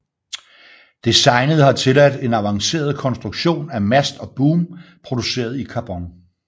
Designet har tilladt en avanceret konstruktion af mast og boom produceret i karbon